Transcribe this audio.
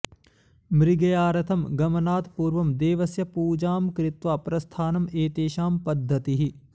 मृगयार्थं गमनात् पूर्वं देवस्य पुजां कृत्वा प्रस्थानम् एतेषां पद्धतिः